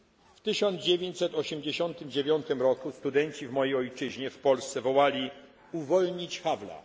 W 1989 roku studenci w mojej ojczyźnie, w Polsce, wołali Uwolnić Havla!